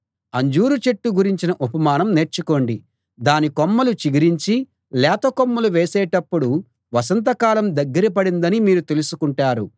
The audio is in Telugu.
అంజూరు చెట్టు గురించిన ఉపమానం నేర్చుకోండి దాని కొమ్మలు చిగిరించి లేత కొమ్మలు వేసేటప్పుడు వసంత కాలం దగ్గర పడిందని మీరు తెలుసుకుంటారు